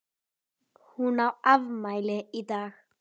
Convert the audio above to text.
Hún á afmæli í dag.